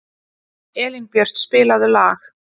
Elínbjört, spilaðu lag.